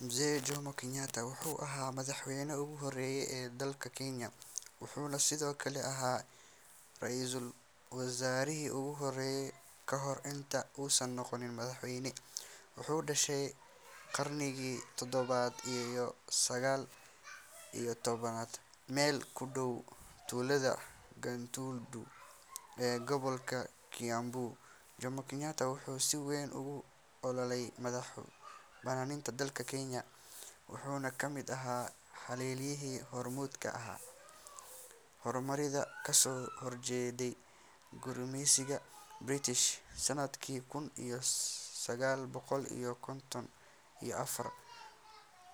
Mzee Jomo Kenyatta wuxuu ahaa madaxweynihii ugu horreeyay ee dalka Kenya, wuxuuna sidoo kale ahaa ra’iisul wasaarihii ugu horreeyay ka hor inta uusan noqon madaxweyne. Wuxuu dhashay qarnigii tobnaad iyo sagaal iyo tobnaad meel ku dhow tuulada Gatundu ee gobolka Kiambu. Jomo Kenyatta wuxuu si weyn ugu ololeeyay madax-bannaanida dalka Kenya wuxuuna ka mid ahaa halyayadii hormuudka ka ahaa xornimada kasoo horjeeday gumeysigii British. Sannadkii kun iyo sagaal boqol iyo konton iyo afar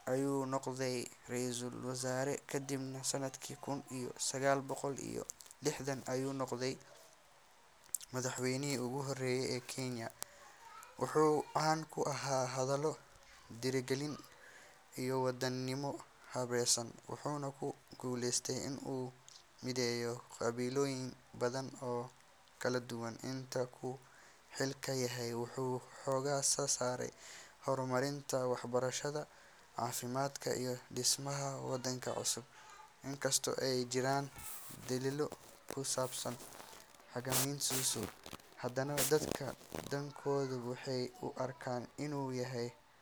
ayuu noqday ra’iisul wasaare, kadibna sannadkii kun iyo sagaal boqol iyo lixdan ayuu noqday madaxweynihii ugu horreeyay ee Kenya. Wuxuu caan ku ahaa hadallo dhiirrigelin iyo wadaninimo xambaarsan, wuxuuna ku guulaystay in uu mideeyo qabiilooyin badan oo kala duwan. Intii uu xilka hayay wuxuu xoogga saaray horumarinta waxbarashada, caafimaadka iyo dhismaha waddanka cusub. Inkastoo ay jireen dhaliilo ku saabsan hoggaankiisa, haddana dadka badankoodu waxay u arkaan inuu yahay.